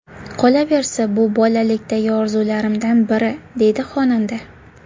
Qolaversa, bu bolalikdagi orzularimdan biri”, deydi xonanda.